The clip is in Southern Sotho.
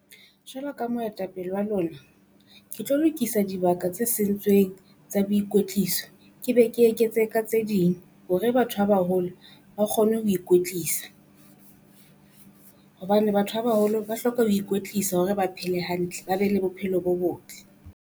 Jwalo ka moetapele wa lona, ke tlo lokisa dibaka tse sentsweng tsa boikwetliso. Ke be ke eketse ka tse ding hore batho ba baholo, ba kgone ho ikwetlisa hobane batho ba baholo ba hloka ho ikwetlisa hore ba phele hantle, ba be le bophelo bo botle.